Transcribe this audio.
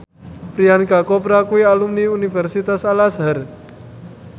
Priyanka Chopra kuwi alumni Universitas Al Azhar